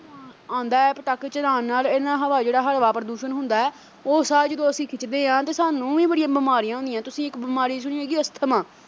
ਆਉਂਦਾ ਐ ਪਟਾਕੇ ਚਲਾਣ ਨਾਲ ਇਹਦੇ ਨਾਲ ਹਵਾ ਜਿਹੜਾ ਹਵਾ ਪ੍ਰਦੂਸ਼ਣ ਹੁੰਦੈ ਉਹ ਸਾਹ ਜਦੋਂ ਅਸੀਂ ਖਿੱਚਦੇ ਐਂ ਤੇ ਸਾਨੂੰ ਵੀ ਬੜੀਆਂ ਬਿਮਾਰੀਆਂ ਹੁੰਦੀਆਂ ਤੁਸੀਂ ਇੱਕ ਬਿਮਾਰੀ ਸੁਣੀ ਹੈਗੀ ਐ ਅਸਥਮਾ।